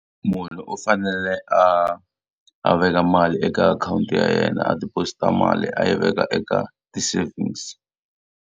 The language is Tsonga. Munhu u fanele a a veka mali eka akhawunti ya yena a deposit-a mali a yi veka eka ti-savings.